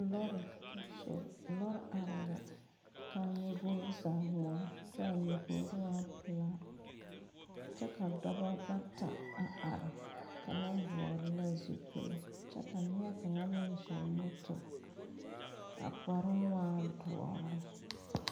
Lɔre sore. Lɔre areɛ la. kaa nyebore zaa gmore kyɛ ka nyebore waa pulaa. Kyɛ ka doɔbo bata a are. Kanga vogle la zupul kyɛ ka neɛ kang meŋ zoŋ moto. A kparo waa duore.